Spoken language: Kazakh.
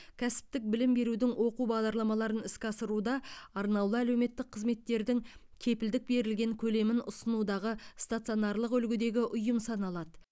кәсіптік білім берудің оқу бағдарламаларын іске асыруда арнаулы әлеуметтік қызметтердің кепілдік берілген көлемін ұсынудағы стационарлық үлгідегі ұйым саналады